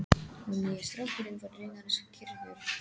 Og nýi strákurinn var raunar skírður.